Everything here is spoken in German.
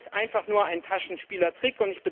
Das ist einfach nur ein Taschenspielertrick.